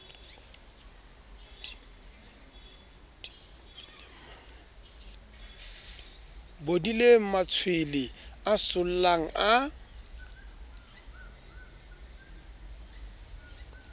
bodileng matshwele a sollang a